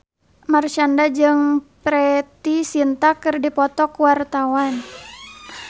Marshanda jeung Preity Zinta keur dipoto ku wartawan